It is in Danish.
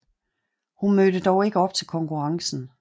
Hun mødte dog ikke op til konkurrencen